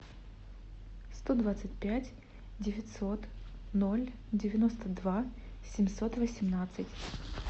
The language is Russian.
сто двадцать пять девятьсот ноль девяносто два семьсот восемнадцать